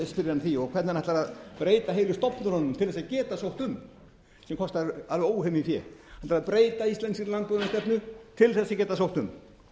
að því og hvernig hann ætlar að breyta heilu stofnunum til þess að geta sótt um sem kostar alveg óhemju fé hann ætlar að breyta íslenskri landbúnaðarstefnu til þess að geta sótt um